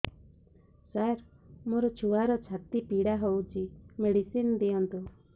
ସାର ମୋର ଛୁଆର ଛାତି ପୀଡା ହଉଚି ମେଡିସିନ ଦିଅନ୍ତୁ